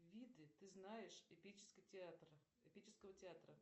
виды ты знаешь эпического театра